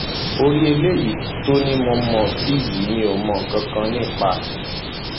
orí eléyìí tó ní mo mọ sí yìí mi ò mọ mọ nǹkan kan nípa ẹ